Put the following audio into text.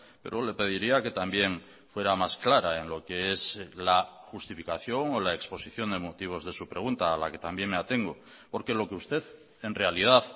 pero le pediría que también fuera más clara en lo que es la justificación o la exposición de motivos de su pregunta a la que también me atengo porque lo que usted en realidad